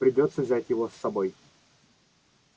придётся взять его с собой